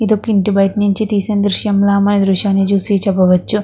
ఇది ఒక ఇంటి బయట నుంచి తీసిన చిత్రం లా మనం ఈ దృశ్యని చూసి చేపవచ్చు.